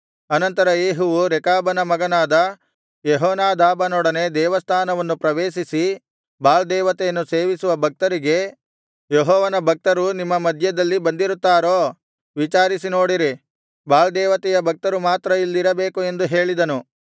ಅನಂತರ ಯೇಹುವು ರೇಕಾಬನ ಮಗನಾದ ಯೆಹೋನಾದಾಬನೊಡನೆ ದೇವಸ್ಥಾನವನ್ನು ಪ್ರವೇಶಿಸಿ ಬಾಳ್ ದೇವತೆಯನ್ನು ಸೇವಿಸುವ ಭಕ್ತರಿಗೆ ಯೆಹೋವನ ಭಕ್ತರು ನಿಮ್ಮ ಮಧ್ಯದಲ್ಲಿ ಬಂದಿರುತ್ತಾರೋ ವಿಚಾರಿಸಿ ನೋಡಿರಿ ಬಾಳ್ ದೇವತೆಯ ಭಕ್ತರು ಮಾತ್ರ ಇಲ್ಲಿರಬೇಕು ಎಂದು ಹೇಳಿದನು